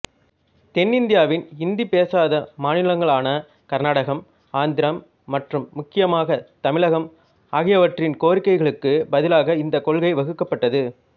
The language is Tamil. தென்னிநிதியாவின் இந்தி பேசாத மாநிலங்களான கர்நாடகம் ஆந்திரம் மற்றும் முக்கியமாக தமிழகம் ஆகியவற்றின் கோரிக்கைகளுக்கு பதிலாக இந்த கொள்கை வகுக்கப்பட்டது